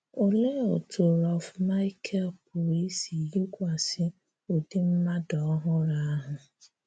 Òlee otú̀ Rolf-Michael pụrụ isi yikwasị ụdị́ mmadụ ọhụrụ ahụ?